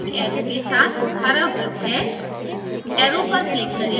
बायीं तरफ एक arrow के साथ हरा वृत्त है